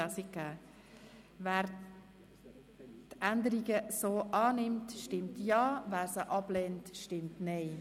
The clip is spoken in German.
Wer den Änderungen gesamthaft zustimmt, stimmt Ja, wer diese ablehnt, stimmt Nein.